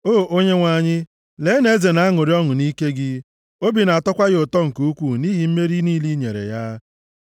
O Onyenwe anyị, lee na eze na-aṅụrị ọṅụ nʼike gị. Obi na-atọkwa ya ụtọ nke ukwuu nʼihi mmeri niile i nyere ya!